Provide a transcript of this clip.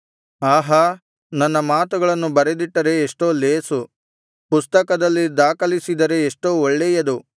ಆಹಾ ನನ್ನ ಮಾತುಗಳನ್ನು ಬರೆದಿಟ್ಟರೆ ಎಷ್ಟೋ ಲೇಸು ಪುಸ್ತಕದಲ್ಲಿ ದಾಖಲಿಸಿದರೆ ಎಷ್ಟೋ ಒಳ್ಳೆಯದು